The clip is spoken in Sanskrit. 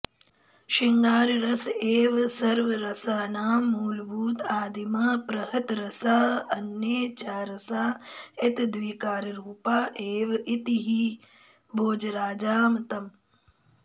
शृङ्गाररस एव सर्वरसानां मूलभूत आदिमः प्रहतरसः अन्ये च रसा एतद्विकाररूपा एव इति हि भोजराजामतम्